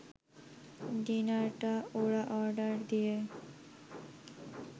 ডিনারটা ওরা অর্ডার দিয়ে